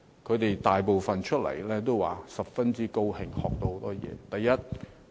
他們大部分都說：十分高興，學到很多東西。